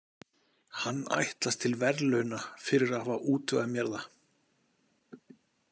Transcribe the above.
Hann ætlast til verðlauna fyrir að hafa útvegað mér það.